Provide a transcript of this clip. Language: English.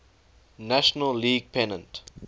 national league pennant